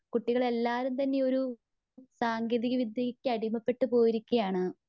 കുട്ടികളെല്ലാവരും തന്നെയൊരു സാങ്കേതിക വിദ്ര്യക്കു അടിമപ്പെട്ടുപോയിരിക്കുവാണ്.